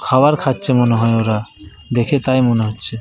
খাবার খাচ্ছে মনে হয় ওরা। দেখে তাই মনে হচ্ছে ।